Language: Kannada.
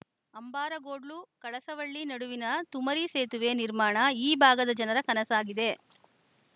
ಅಂಬಾರಗೋಡ್ಲುಕಳಸವಳ್ಳಿ ನಡುವಿನ ತುಮರಿ ಸೇತುವೆ ನಿರ್ಮಾಣ ಈ ಭಾಗದ ಜನರ ಕನಸಾಗಿದೆ